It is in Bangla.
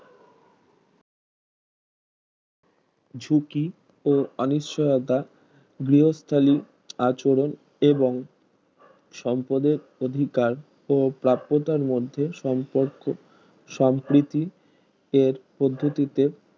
ঝুঁকি ও অনিশ্চয়তা গৃহস্থালি আচরণ এবং শ্রমপদের অধিকার ও প্রপ্তার মধ্যে সম্পর্ক সম্প্রীতি এর পদ্ধতিতে